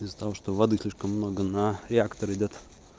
из-за того что вод слишком много на реактор идёт